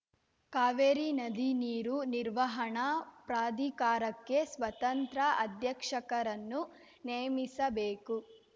ಕಾವೇರಿ ನದಿ ನೀರು ನಿರ್ವಹಣಾ ಪ್ರಾಧಿಕಾರಕ್ಕೆ ಸ್ವತಂತ್ರ ಅಧ್ಯಕ್ಷರನ್ನು ನೇಮಿಸಬೇಕು